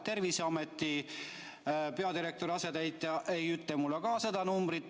Terviseameti peadirektori asetäitja ei ütle mulle ka seda numbrit.